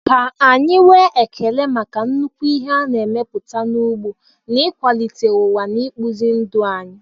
Ka anyị nwee ekele maka nnukwu ihe a na-emepụta n'ugbo n'ịkwalite ụwa na ịkpụzi ndụ anyị.